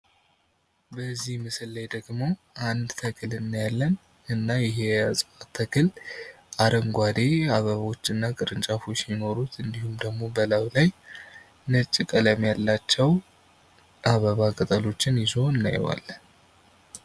በዚህ ምስል ላይ ደግሞ አንድ ተክል እናያለን ፤እና ይሄ የእፅዋት ተክል አረንጕዴ አበቦች እና ቅርንጫፎች ሲኖሩት እንዲሁም ደግሞ በላዩ ላይ ነጭ ቀለም ያላቸው አበባ ቅጠሎችን ይዞ እናየዋለን።